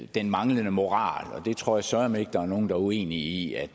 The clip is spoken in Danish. den manglende moral og jeg tror søreme ikke at nogen er uenige i at